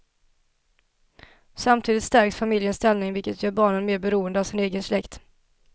Samtidigt stärks familjens ställning vilket gör barnen mer beroende av sin egen släkt.